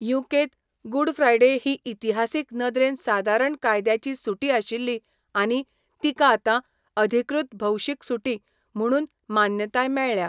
यू.कें.त, good Friday ही इतिहासीक नदरेन सादारण कायद्याची सुटी आशिल्ली आनी तिका आतां अधिकृत भौशीक सुटी म्हुणून मान्यताय मेळ्ळ्या.